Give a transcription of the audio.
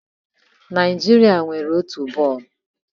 Naijiria nwere otu bọọlụ.